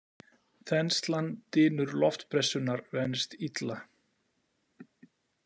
Þenslan Dynur loftpressunnar venst illa.